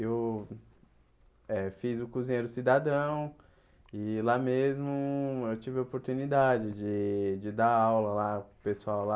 Eu eh fiz o Cozinheiro Cidadão e lá mesmo eu tive a oportunidade de de dar aula lá com o pessoal lá.